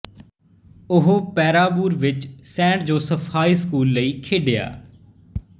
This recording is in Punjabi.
ਉਹ ਪੇਰਾਵੂਰ ਵਿਚ ਸੇਂਟ ਜੋਸਫ ਹਾਈ ਸਕੂਲ ਲਈ ਖੇਡਿਆ